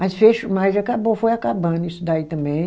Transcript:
Mas fecho acabou, foi acabando isso daí também.